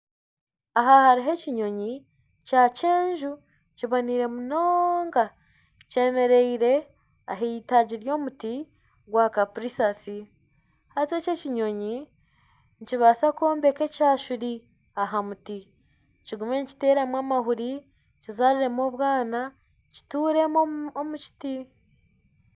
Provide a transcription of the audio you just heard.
Aha hariho ekinyoyi kyakyenju kandi kiboneire munonga kyemereire ah'eitaagi ry'omuti gwa kapuripisi haza eki ekinyonyi nikibaasa kwombeka ekyashuri aha muti kigume nikiteeramu amahuri kizaariremu obwana kituremu omu kiti